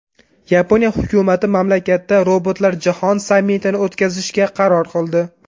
Yaponiya hukumati mamlakatda Robotlar jahon sammitini o‘tkazishga qaror qildi.